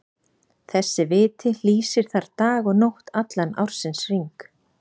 Þessi viti lýsir þar dag og nótt allan ársins hring.